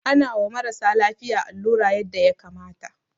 Ana wa marasa lafiya allura yanda ya kamata.